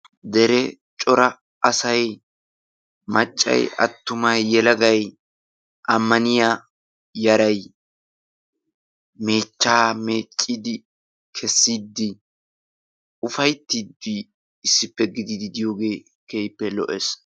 dere cora asay maccay attumay yelagay ammaniya yaray meechchaa meeccidi kessidi ufayttiidi issippe gididi diyooge keehippe lo'ees.